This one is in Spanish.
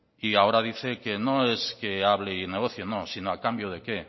y ahora dice que no es que hable y negocie no sino a cambio de qué